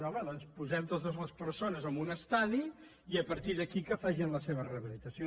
home doncs posem totes les persones en un estadi i a partir d’aquí que facin la seva rehabilitació